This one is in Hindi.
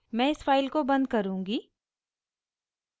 मैं इस फाइल को बंद करुँगी